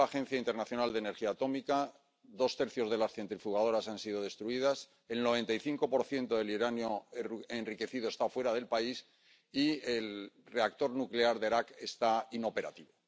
Según la Agencia Internacional de Energía Atómica, dos tercios de las centrifugadoras han sido destruidas, el 95 del uranio enriquecido está fuera del país y el reactor nuclear de Arak está inoperativo.